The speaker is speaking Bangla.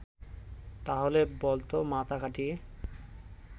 তাহলে বলতো মাথা খাটিয়ে